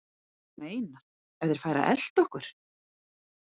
Þú meinar. ef þeir færu að elta okkur?